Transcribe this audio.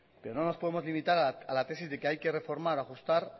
pero no nos podemos limitar a la tesis de que hay que reformar o ajustar